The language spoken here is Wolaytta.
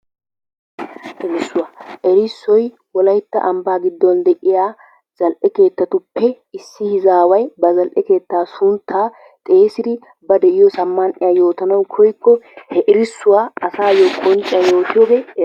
Erissuwaa, erssoy wolaytta ambba giddon de'yaa zal'e keettatuppe issi izaway ba zal'e keettaa sunttaa xeessid ba de'iyoosa man'iyaa yoottana koyikko he erissuwaa asayoo qonciyaani yottiyode yees.